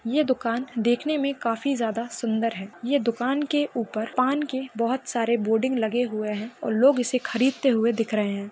ये दुकान देखने मे काफी ज्यादा सुंदर है ये दुकान के ऊपर पान के बहुत सारे बोडिंग लगे हुए है और लोग इसे खरीदेते हुए दिख रहे है।